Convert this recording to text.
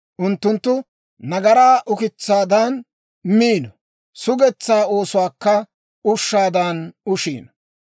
Unttunttu nagaraa ukitsaadan miino; sugetsaa oosuwaakka ushshaadan ushiino.